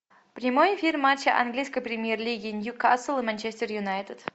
прямой эфир матча английской премьер лиги ньюкасл и манчестер юнайтед